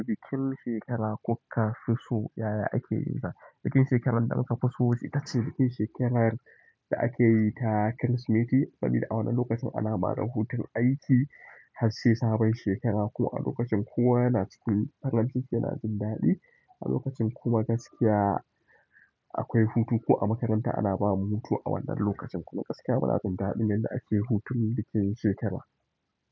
Bikin shekara, kokka, fusu yaya ake yi ta? Bikin shekarar da muka fi so ita ce bikin shekarar da akeyi ta Kirsimeti saboda a wannan lokacin ana ba da hutun aiki har sai sabon shekara. Kuma a lokacin kowa yana cikin farin ciki yana jin daɗi. A lokacin kuma gaskiya, akwai hutu. Ko a makaranta ana ba mu hutu a wannan lokacin. Kuma gaskiya muna jin daɗin yadda ake hutun bikin shekara.